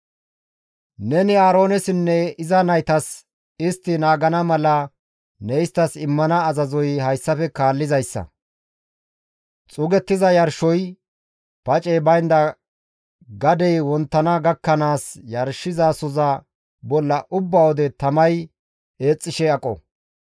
«Neni Aaroonessinne iza naytas istti naagana mala ne isttas immana azazoy hayssafe kaallizayssa; xuugettiza yarshoy pacey baynda gadey wonttana gakkanaas yarshizasoza bolla ubba wode tamay eexxishe aqo.